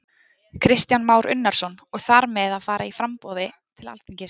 Kristján Már Unnarsson: Og þar með að fara í framboð til Alþingis?